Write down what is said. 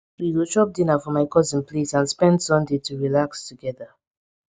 we go chop dinner for my cousin place and spend sunday to relax togeda